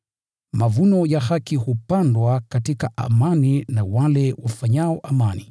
Mavuno ya haki hupandwa katika amani na wale wafanyao amani.